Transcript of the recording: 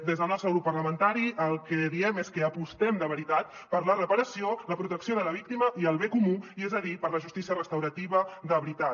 des del nostre grup parlamentari el que diem és que apostem de veritat per la reparació la protecció de la víctima i el bé comú i és a dir per la justícia restaurativa de veritat